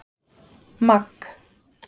Magg